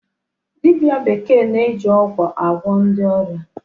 Dibia bekee na-eji ọgwụ agwọ ndị ọrịa.